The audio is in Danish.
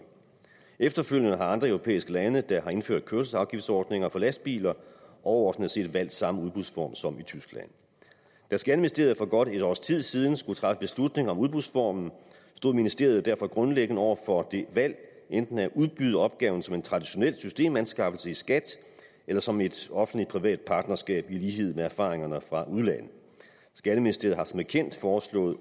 efterfølgende har andre europæiske lande der har indført kørselsafgiftsordninger for lastbiler overordnet set valgt samme udbudsform som i tyskland da skatteministeriet for godt et års tid siden skulle træffe beslutning om udbudsformen stod ministeriet derfor grundlæggende over for det valg enten at udbyde opgaven som en traditionel systemanskaffelse i skat eller som et offentlig privat partnerskab i lighed med erfaringerne fra udlandet skatteministeriet har som bekendt foreslået